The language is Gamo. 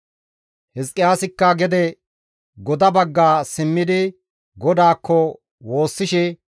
Hizqiyaasikka gede goda bagga simmidi GODAAKKO woossishe,